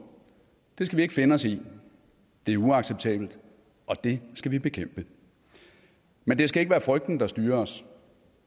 det skal vi ikke finde os i det er uacceptabelt og det skal vi bekæmpe men det skal ikke være frygten der styrer os